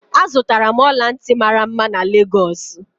Azụtara m ọla ntị mara mma na Lagosu.